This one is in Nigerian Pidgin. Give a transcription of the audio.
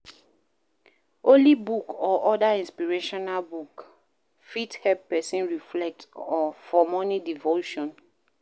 Holy book or oda inspirational book fit help person reflect for morning devotion